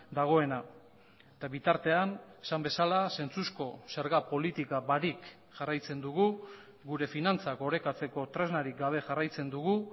dagoena eta bitartean esan bezala zentzuzko zerga politika barik jarraitzen dugu gure finantzak orekatzeko tresnarik gabe jarraitzen dugu